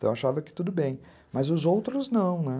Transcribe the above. Então, eu achava que tudo bem, mas os outros não, né?